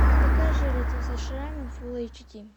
покажи лицо со шрамом фул эйч ди